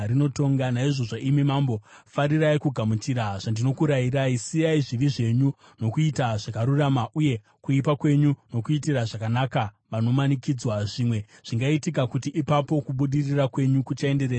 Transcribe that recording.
Naizvozvo, imi mambo, farirai kugamuchira zvandinokurayirai: Siyai zvivi zvenyu nokuita zvakarurama, uye kuipa kwenyu nokuitira zvakanaka vanomanikidzwa. Zvimwe zvingaitika kuti ipapo kubudirira kwenyu kuchaenderera mberi.”